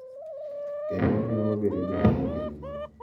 Kendo omiyo wabedo joma onge luoro.